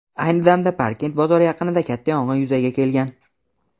Ayni damda Parkent bozori yaqinida katta yong‘in yuzaga kelgan.